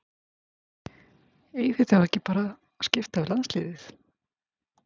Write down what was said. Eigið þið þá ekki að skipta bara við landsliðið?